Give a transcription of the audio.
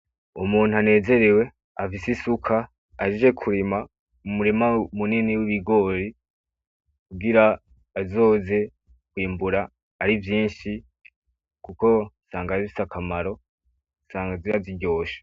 Umuntu anezerewe afise isuka ahejeje kurima mu murima munini w'ibigori kugira azoze kwimbura ari vyinshi kuko usanga bifise akamaro, usanga ziba ziryoshe.